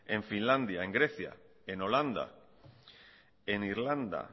en finlandia en grecia en holanda en irlanda